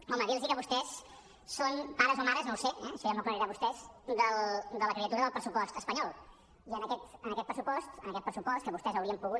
home dir los que vostès són pares o mares no ho sé això ja m’ho aclariran vostès de la criatura del pressupost espanyol i en aquest pressupost en aquest pressupost que vostès haurien pogut